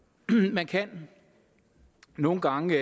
man kan nogle gange